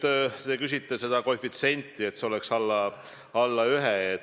" Te märkisite seda koefitsienti, et see peaks olema alla 1.